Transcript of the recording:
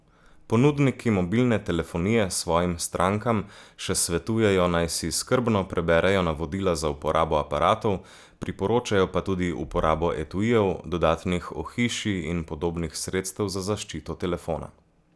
Ponudniki mobilne telefonije svojim strankam še svetujejo, naj si skrbno preberejo navodila za uporabo aparatov, priporočajo pa tudi uporabo etuijev, dodatnih ohišij in podobnih sredstev za zaščito telefona.